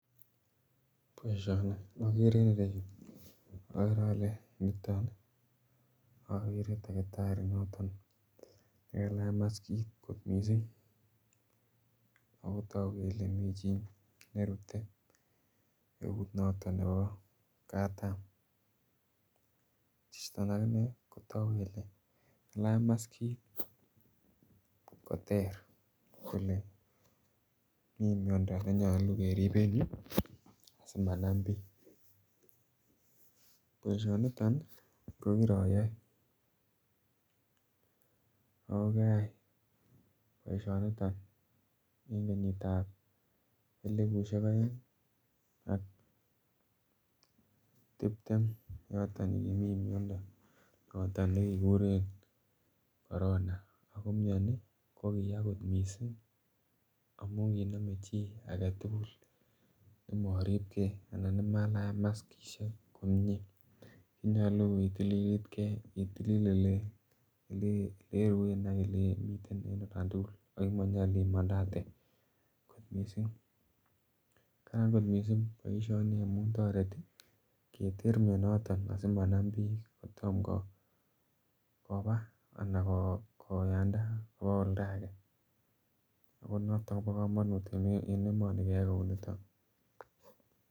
Baishoni akere inguni ireyu agere niton agere takitari nekalach maskit akotagubkole mi chi nerute eut noton Nebo katam niton akinee kotogu Kole kalach maskit koter Kole mi miando neyache kerib simanam bik baishoniton kokiroyoe okai baishoniton en kenyit ab elibushiek aeng AK tiptem AK yoton yekimii miando noton nekikuren korona ako mnyani kokiyaa kot mising amun kiname chi komaribgei anan komaribgei kolach maskitkomie konyolu ketililit gei AK ole iruen AK ole imiten ako manyalu imandate kot mising kararan kot mising baishoni Keter mianiton kotomo Koba anan kokanda en olda age Koba kamanut en emoni keyai baishet Kou niton